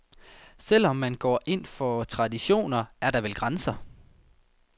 Selv om man går ind for traditioner, er der vel grænser.